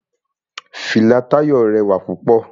Fìlà Táyọ̀ rẹwà púpọ̀.